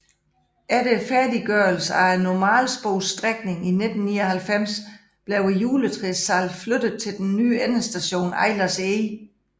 Efter færdiggørelsen af normalsporsstrækningen i 1999 blev juletræssalget flyttet til den nye endestation Eilers Eg